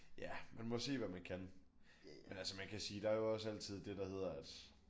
Ja man må se hvad man kan. Men altså man kan sige der er jo også altid det der hedder at